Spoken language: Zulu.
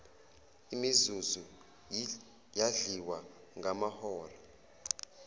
imizuzu yadliwa ngamahora